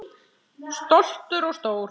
Stoltur og stór.